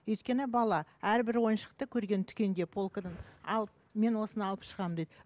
өйткені бала әрбір ойыншықты көрген дүкенде полкіден ал мен осыны алып шығамын дейді